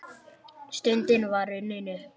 Stundin var runnin upp.